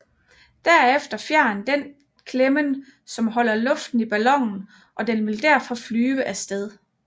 Derefter fjern den klemmen som holder luften i ballonen og den vil derfor flyver af sted